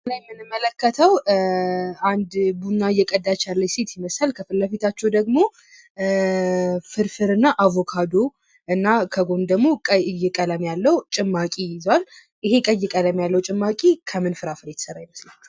በምስሉ ላይ የምንመለከተው አንድ ቡና እየቀዳች ያለች ሴት ይመስላል። ከፊትለፊታቸው ደግሞ ፍርፍርና አቦካዶ እና ከጎን ደግሞ ቀይ ቀለም ያለው ጭማቂ ይዟል። ይህ ቀይ ቀለም ያለው ጭማቂ ከምን ፍራፍሬ የተሰራ ይመስላችኋል?